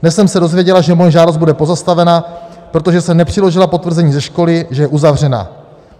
Dnes jsem se dozvěděla, že moje žádost bude pozastavena, protože jsem nepřiložila potvrzení ze školy, že je uzavřena.